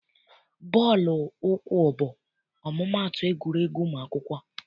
Bọọlụ ụkwụ bụ ọmụmaatụ egwuregwu ụmụ akwụkwọ.